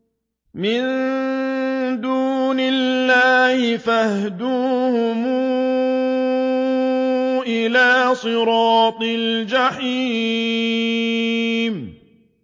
مِن دُونِ اللَّهِ فَاهْدُوهُمْ إِلَىٰ صِرَاطِ الْجَحِيمِ